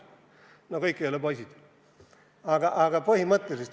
No kõik ei ole poisid, aga põhimõtteliselt.